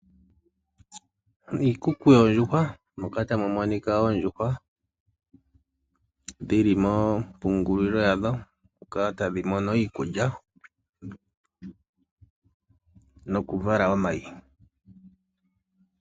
Oondjuhwa oha dhi vulu oku dhipagwa opo kumonike onyama yokuliwa . Nenge ota dhi vulu woo okuza omayi ngoka haga landithwapo.